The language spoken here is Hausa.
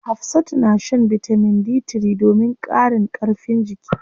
Hafsatu na shan bitamin D3 domin ƙarin karfin jiki.